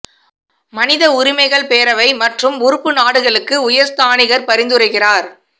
மனித உரிமைகள் பேரவை மற்றும் உறுப்பு நாடுகளுக்கு உயர் ஸ்தானிகர் பரிந்துரைக்கிறார்